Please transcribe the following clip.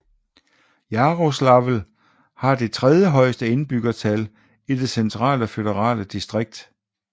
Jaroslavl har det tredje højeste indbyggertal i det Centrale føderale distrikt